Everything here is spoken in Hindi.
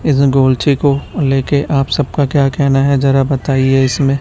लेके आप सब का क्या कह ना है जरा बताई इसमें--